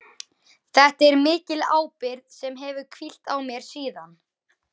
Þetta er mikil ábyrgð sem hefur hvílt á mér síðan.